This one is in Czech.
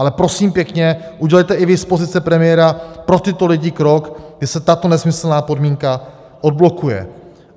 Ale prosím pěkně, udělejte i vy z pozice premiéra pro tyto lidi krok, že se tato nesmyslná podmínka odblokuje.